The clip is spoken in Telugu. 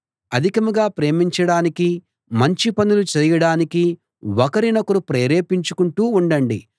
అధికంగా ప్రేమించడానికీ మంచి పనులు చేయడానికీ ఒకరినొకరు ప్రేరేపించుకుంటూ ఉండండి